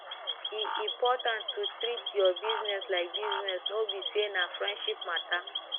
e important to treat your business like business no be say na friendship matter